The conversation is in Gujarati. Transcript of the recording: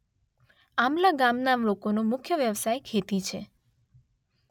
આંબલા ગામના લોકોનો મુખ્ય વ્યવસાય ખેતી છે.